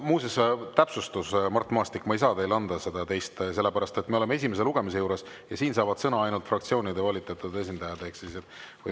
Muuseas, täpsustus: Mart Maastik, ma ei saa teile anda teist, sellepärast et me oleme esimese lugemise juures ja siin saavad sõna ainult fraktsioonide esindajad.